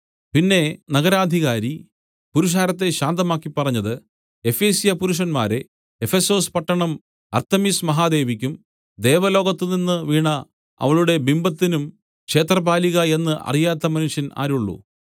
പിന്നെ നഗരാധികാരി പുരുഷാരത്തെ ശാന്തമാക്കി പറഞ്ഞത് എഫെസ്യപുരുഷന്മാരേ എഫെസൊസ് പട്ടണം അർത്തെമിസ് മഹാദേവിക്കും ദേവലോകത്തുനിന്ന് വീണ അവളുടെ ബിംബത്തിനും ക്ഷേത്രപാലിക എന്ന് അറിയാത്ത മനുഷ്യൻ ആരുള്ളു